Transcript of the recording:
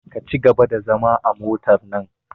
Ka cigaba da zama a motar nan!